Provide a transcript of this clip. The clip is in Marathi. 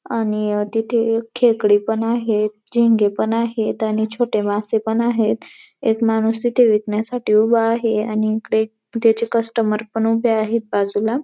आणि अहं तिथे एक खेकडे पण आहेत झिंगे पण आहेत. आणि छोटे मासे पण आहेत एक माणूस तिथे विकण्यासाठी उभा आहे आणि इकडे त्याचे कस्टमर पण उभे आहेत बाजूला.